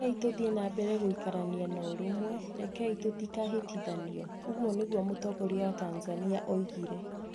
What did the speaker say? "Rekei tũthiĩ na mbere gũikarania na ũrũmwe; rekei tũtikanahĩtithanio, " ũguo nĩguo mũtongoria wa Tanzania oigire".